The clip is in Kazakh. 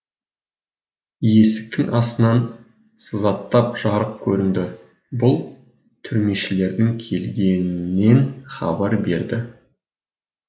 есіктің астынан сызаттап жарық көрінді бұл түрмешілердің келгенінен хабар берді